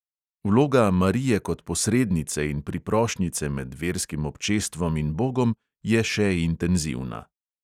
Vloga marije kot posrednice in priprošnjice med verskim občestvom in bogom je še intenzivna.